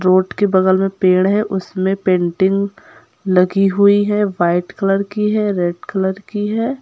Road के बगल में पेड़ है उसमे पेंटिंग लगी हुई है वाइट कलर की है रेड कलर की है।